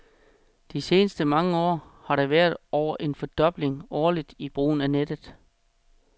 De seneste mange år har der været over en fordobling årligt i brugen af nettet.